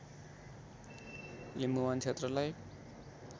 लिम्बुवान क्षेत्रलाई